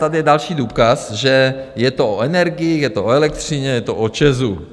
Tady je další důkaz, že je to o energiích, je to o elektřině, je to o ČEZu.